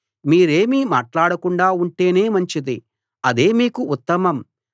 మీరేమీ మాట్లాడకుండా ఉంటేనే మంచిది అదే మీకు ఉత్తమం